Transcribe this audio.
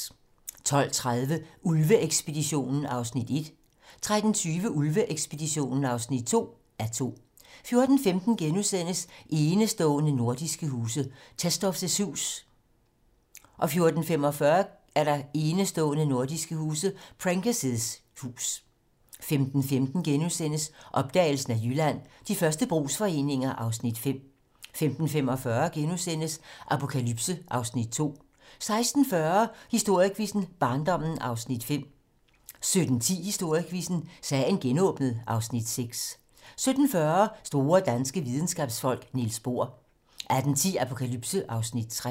12:30: Ulve-ekspeditionen (1:2) 13:20: Ulve-ekspeditionen (2:2) 14:15: Enestående nordiske huse - Tesdorpf's hus * 14:45: Enestående nordiske huse - Prenker's hus 15:15: Opdagelsen af Jylland: De første brugsforeninger (Afs. 5)* 15:45: Apokalypse (Afs. 2)* 16:40: Historiequizzen: Barndommen (Afs. 5) 17:10: Historiequizzen: Sagen genåbnet (Afs. 6) 17:40: Store danske videnskabsfolk: Niels Bohr 18:10: Apokalypse (Afs. 3)